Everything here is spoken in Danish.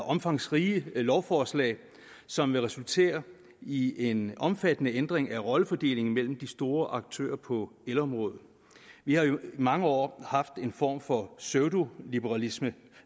omfangsrige lovforslag som vil resultere i en omfattende ændring af rollefordelingen mellem de store aktører på elområdet vi har jo i mange år haft en form for pseudoliberalisering